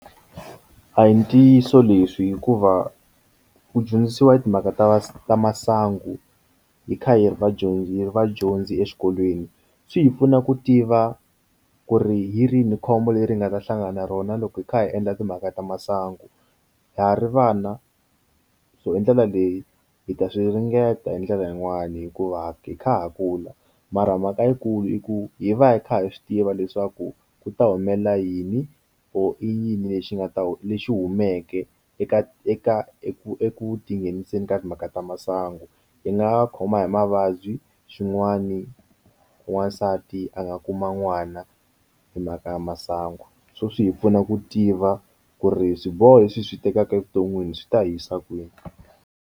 A hi ntiyiso leswi hikuva ku dyondzisiwa hi timhaka ta masangu hi kha hi ri vadyondzi vadyondzi exikolweni swi hi pfuna ku tiva ku ri hi rini khombo leri hi nga ta hlangana na rona loko hi kha hi endla timhaka ta masangu hari vana so hi ndlela leyi hi ta swi ringeta hi ndlela yin'wani hikuva ha kha ha kula mara mhaka yikulu i ku hi va hi kha hi swi tiva leswaku ku ta humelela yini or i yini lexi nga ta lexi humeke eka eka eku eku tinghenisa ka timhaka ta masangu hi nga khoma hi mavabyi xin'wani n'wansati a nga kuma n'wana hi mhaka ya masangu so swi hi pfuna ku tiva ku ri swiboho leswi hi swi tekaka evuton'wini swi ta hisa kwini.